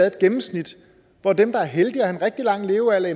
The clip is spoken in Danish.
et gennemsnit hvor dem der er heldige at have en rigtig lang levealder